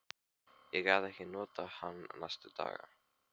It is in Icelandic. Ég gat ekkert notað hann næstu daga.